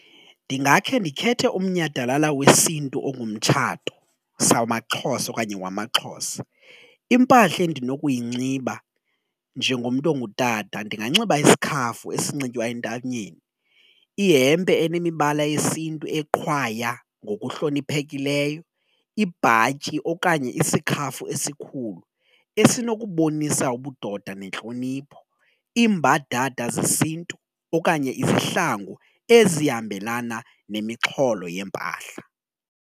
Ndingakhe ndikhethe umnyhadalala wesiNtu ongumtshato samaXhosa okanye wamaXhosa impahla endinokuyinxiba njengomntu ongutata ndinganxiba isikhafu esinxitywa entanyeni, ihempe anemibala yesiNtu eqhwaya ngokuhloniphekileyo, ibhatyi okanye isikhafu esikhulu esinokubonisa ubudoda nentlonipho. Iimbadada zesiNtu okanye izihlangu ezihambelana nemixholo yempahla.